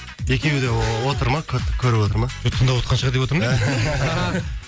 екеуі де отыр ма қөріп отыр ма тыңдавотқан шығар деп отырмын